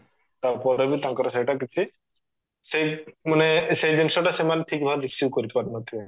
ତାପରେ ବି ତାଙ୍କର ସେଇଟା କିଛି ସେଇ ମାନେ ସେଇ ଜିନିଷ ଟା ସେମାନେ ଠିକ ଭାବରେ receive କରିପାରୁନଥିବେ